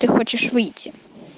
ты хочешь выйти